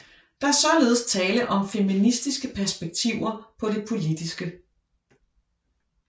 Der er således tale om feministiske perspektiver på det politiske